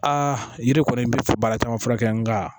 A yiri kɔni bɛ baara caman fura kɛ nka